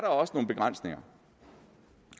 også nogle begrænsninger